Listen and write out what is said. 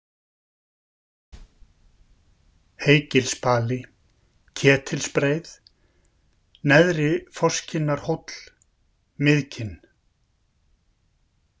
Heygilsbali, Ketilsbreið, Neðri-Fosskinnarhóll, Miðkinn